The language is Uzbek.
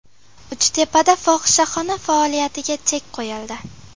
Uchtepada fohishaxona faoliyatiga chek qo‘yildi.